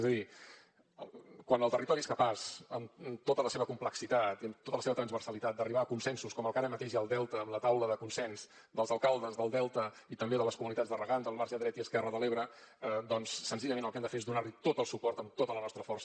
és a dir quan el territori és capaç amb tota la seva complexitat i tota la seva transversalitat d’arribar a consensos com el que ara mateix hi ha al delta amb la taula de consens dels alcaldes del delta i també de les comunitats de regants del marge dret i esquerre de l’ebre doncs senzillament el que han de fer és donar li tot el suport amb tota la nostra força